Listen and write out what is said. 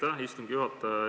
Aitäh, istungi juhataja!